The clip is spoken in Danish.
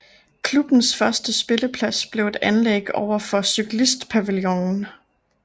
Klubbens første spilleplads blev et anlæg over for cyklistpavillonen